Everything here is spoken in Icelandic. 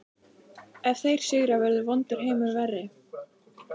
Ef þeir sigra verður vondur heimur verri